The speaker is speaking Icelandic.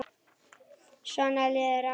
Svona liðu árin.